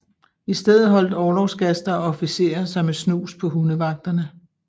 I stedet holdt orlogsgaster og officerer sig med snus på hundevagterne